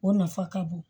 O nafa ka bon